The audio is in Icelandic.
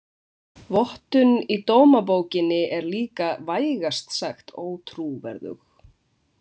Vottun í dómabókinni er lika vægast sagt ótrúverðug.